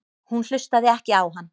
Hún hlustaði ekki á hann.